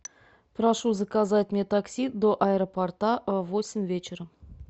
прошу заказать мне такси до аэропорта в восемь вечера